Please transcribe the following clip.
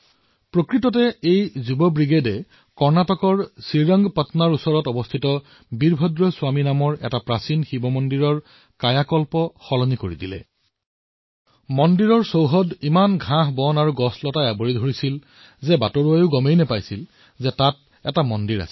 দৰাচলতে এই যুৱ ব্ৰিগেডে কৰ্ণাটকৰ শ্ৰী ৰংগপটনৰ ওচৰত অৱস্থিত বীৰভদ্ৰ স্বামী নামৰ এক প্ৰাচীন শিৱ মন্দিৰৰ কায়াকল্প প্ৰস্তুত কৰিছে